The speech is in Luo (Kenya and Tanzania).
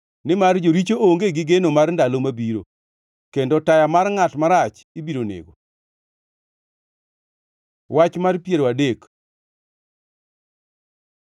nimar jaricho onge gi geno mar ndalo mabiro, kendo taya mar ngʼat marach ibiro nego. Wach mar piero adek